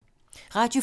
Radio 4